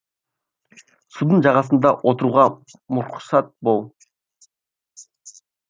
судың жағасында отыруға мұрсат бөл